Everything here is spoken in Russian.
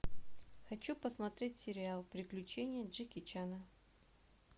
хочу посмотреть сериал приключения джеки чана